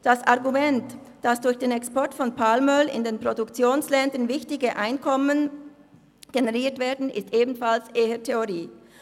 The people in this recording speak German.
Das Argument, dass durch den Export von Palmöl in den Produktionsländern wichtige Einkommen generiert werden, ist ebenfalls eher Theorie.